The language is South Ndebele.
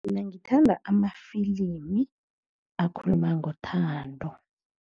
Mina ngithanda amafilimi akhuluma ngothando.